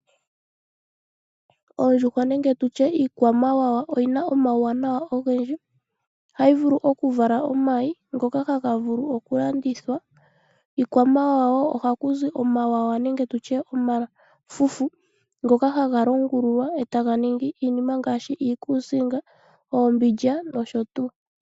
Oondjuhwa nenge tushe iikwamawa oyina omauwanawa ogendji, ohayi vulu okuvala omayi ngoka haga vulu oku landithwa. Iikwamawawa ohaku zi omawawa nenge tushe omafufu, ngoka haga longululwa e taga ningi iinima ngaashi iikusinga, oombindja noshotu.